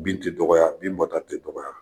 Bin tɛ dɔgɔya bi bɔta tɛ dɔgɔya